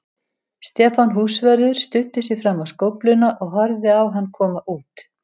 Stefán húsvörður studdi sig fram á skófluna og horfði á hann koma út.